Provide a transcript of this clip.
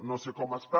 no sé com està